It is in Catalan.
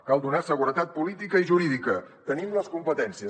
cal donar seguretat política i jurídica en tenim les competències